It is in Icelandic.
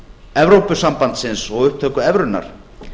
evrópusambandsins og upptöku evrunnar